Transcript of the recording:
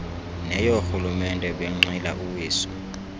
neyoorhulumente benqila uwiso